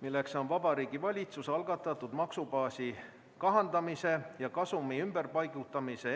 See on Vabariigi Valitsuse algatatud maksubaasi kahandamise ja kasumi ümberpaigutamise